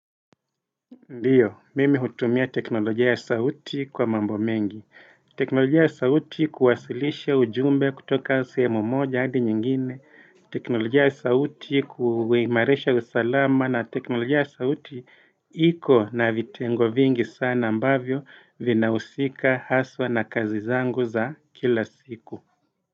Ndiyo, mimi hutumia teknolojia ya sauti kwa mambo mengi, teknolojia ya sauti kuwasilisha ujumbe kutoka sehemu moja hadi nyingine, teknolojia ya sauti kuimarisha usalama na teknolojia ya sauti iko na vitengo vingi sana ambavyo vinahusika haswa na kazi zangu za kila siku.